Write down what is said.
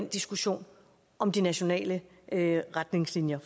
diskussionen om de nationale retningslinjer